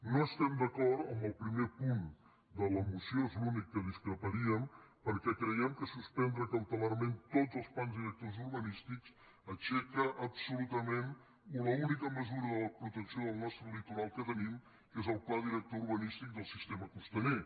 no estem d’acord amb el primer punt de la moció és l’únic en què discreparíem perquè creiem que suspen·dre cautelarment tots els plans directors urbanístics aixeca absolutament l’única mesura de la protecció del nostre litoral que tenim que és el pla director urbanís·tic del sistema costaner